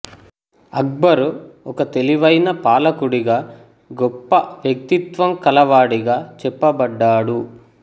అక్బరు ఒక తెలివైన పాలకుడిగా గొప్ప వ్యక్తిత్వం కలవాడిగా చెప్పబడ్డాడు